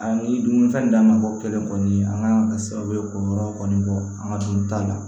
A ni dumuni fɛn d'a ma bɔ kelen kɔni an ka kan ka kɛ sababu ye k'o yɔrɔ kɔni bɔ an ka dun ta la